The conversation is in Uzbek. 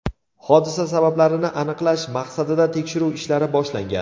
Hodisa sabablarini aniqlash maqsadida tekshiruv ishlari boshlangan.